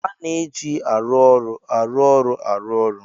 A na-eji arụ ọrụ arụ ọrụ arụ ọrụ.